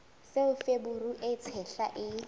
seo feberu e tshehla e